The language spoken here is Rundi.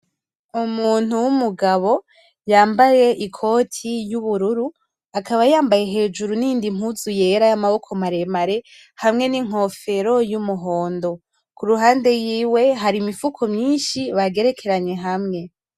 Umuntu w'umugabo yambaye ikoti y'ubururu akaba yambaye hejuru n'iyindi mpuzu yera y'amaboko maremare hamwe n'inkofero y'umuhondo kurunde yiwe hari imifuko myishi bagerekeranye hamwe.